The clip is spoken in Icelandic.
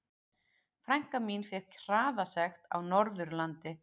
Frænka mín fékk hraðasekt á Norðurlandi.